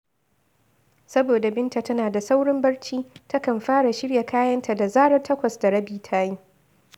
Saboda Binta tana da saurin barci, takan fara shirya kayanta da zarar takwas da rabi ta yi